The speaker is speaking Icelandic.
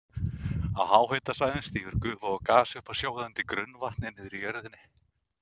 Á háhitasvæðunum stígur gufa og gas upp af sjóðandi grunnvatni niðri í jörðinni.